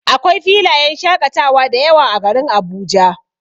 Akwai filayen shaƙatawa dayawa a garin Abuja.